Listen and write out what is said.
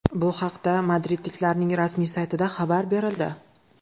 Bu haqda madridliklarning rasmiy saytida xabar berildi .